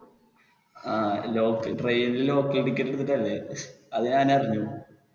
ങ്ഹാ train ല് local ticket എടുത്തിട്ട് അല്ലെ? അത് ഞാൻ അറിഞ്ഞു.